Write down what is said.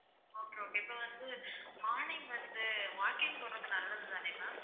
okay okay இப்போ வந்து morning வந்து walking போறது நல்லது தானே ma'am